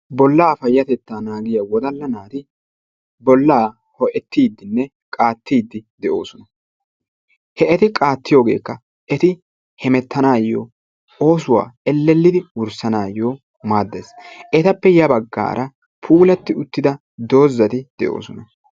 Bollaa payatettaa naagiya woddalla naati bollaa ho"ettiidinne qaattidi de'oosona. He eti qaatiyogekka eti hemettanayo oosuwa elelidi wurssanayo maaddees. Etappe ya baggaara puulati uttida doozati de'oosona.